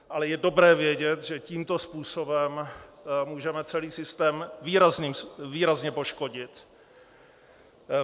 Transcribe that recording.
Ale je dobré vědět, že tímto způsobem můžeme celý systém výrazně poškodit.